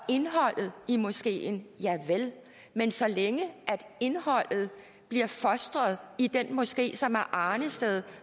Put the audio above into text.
indholdet i moskeen javel men så længe indholdet bliver fostret i den moské som er arnested